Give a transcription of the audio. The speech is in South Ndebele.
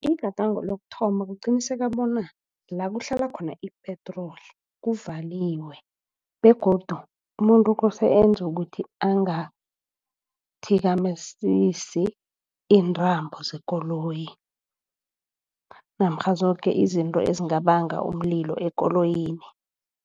Igadango lokuthoma kuqinisekisa bona la kuhlala khona i-petroli kuvaliwe begodu umuntu kose enze ukuthi angathikamizesi iintambo zekoloyi namkha zoke izinto ezingabanga umlilo ekoloyini.